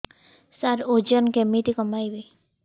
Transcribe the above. ସାର ଓଜନ କେମିତି କମେଇବି